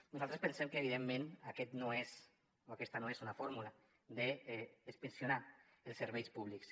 nosaltres pensem que evidentment aquesta no és una fórmula d’inspeccionar els serveis públics